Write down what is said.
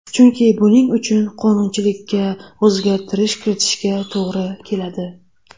Chunki buning uchun qonunchilikka o‘zgartirish kiritishga to‘g‘ri keladi.